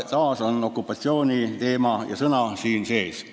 " Siin on okupatsiooni teema ja sõna sees.